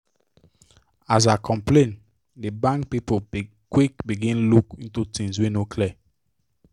as i complain the bank people quick begin look into the things wey no clear